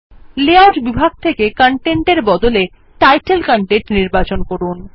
layout বিভাগ থকে gtgtকন্টেন্টের বদলে টাইটেল কনটেন্ট নির্বাচন করুন